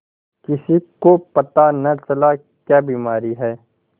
किसी को पता न चला क्या बीमारी है